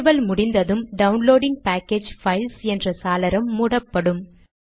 நிறுவல் முடிந்ததும் downloading package files என்ற சாளரம் மூடப்படும்